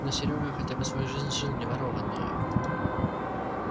но серёга хотя бы свою жизнь жил не ворованную